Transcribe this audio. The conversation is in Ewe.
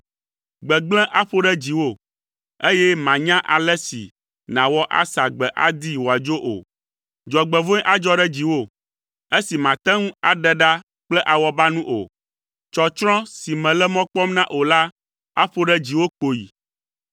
Gbegblẽ aƒo ɖe dziwò, eye mànya ale si nàwɔ asa gbe adee wòadzo o. Dzɔgbevɔ̃e adzɔ ɖe dziwò, esi màte ŋu aɖe ɖa kple awɔbanu o. Tsɔtsrɔ̃ si mèle mɔ kpɔm na o la, aƒo ɖe dziwò kpoyi.